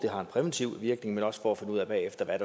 har en præventiv virkning men også for at finde ud af bagefter hvad